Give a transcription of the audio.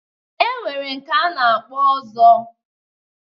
E nwere nke a na-akpọ Ọzọ.